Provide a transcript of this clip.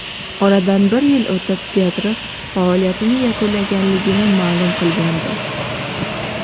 Oradan bir yil o‘tib Petrov faoliyatini yakunlaganligini ma’lum qilgandi.